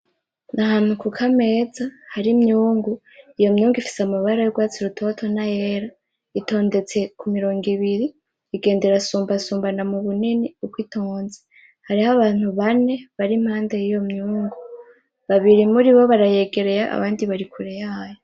N,ahantu kukameza hari imyungu iyo myungu ifise amabara yurwatsi rutoto n,ayera itondetse kumirongo ibiri igenda irasumba sumbana mubunini uko itonze hariho abantu bane bari impande yiyo myungu babiri muri bo barayegereye abandi bari kure yayo .